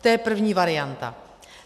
To je první varianta.